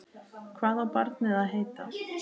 Hvað á barnið að heita?